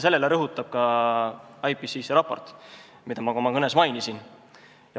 Sellele rõhub ka IPCC raport, mida ma oma kõnes mainisin.